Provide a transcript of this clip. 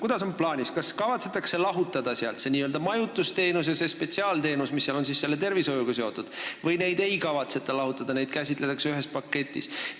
Kuidas on plaanis: kas sealt kavatsetakse lahutada n-ö majutusteenus ja spetsiaalteenus, mis on seotud tervishoiuga, või ei kavatseta neid lahutada ja käsitletakse ühes paketis?